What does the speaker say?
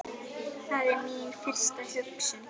Það er mín fyrsta hugsun.